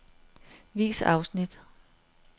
Vis afsnit.